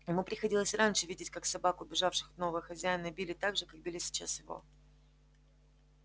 ему приходилось и раньше видеть как собак убежавших от нового хозяина били так же как били сейчас его